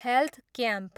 Health camp.